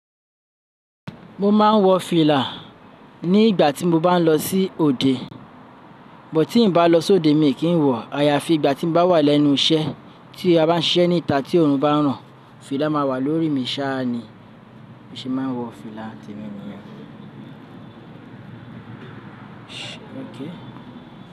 Mo máa ń wọ fìlà ní ìgbà tí mo bá ń lọ sí òde. Bọ̀ tí n bá lọ sóde mi kì í n wọ̀. Àyàfi ìgbà tí mo bá wà lẹ́nu iṣẹ́ tí a bá ń ṣiṣẹ́ níta tí òòrùn bá ń rọ̀, fìlà máa wà lórí mi saá ni. Bi mo ṣe máa ń wọ fìlà temi nìyẹn.